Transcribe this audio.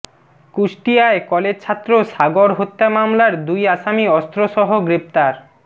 কুষ্টিয়ায় কলেজছাত্র সাগর হত্যা মামলার দুই আসামি অস্ত্রসহ গ্রেপ্তার